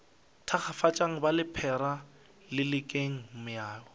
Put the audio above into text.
thakgafatšang ba lephera lelekang meoya